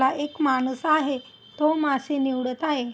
हा एक माणूस आहे. तो मासे निवडत आहे.